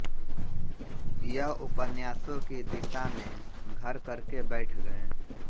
यह उपन्यासों की दिशा में घर करके बैठ गए